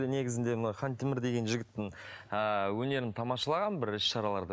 негізінде мына хантемір деген жігіттің ііі өнерін тамашалағанмын бір іс шараларда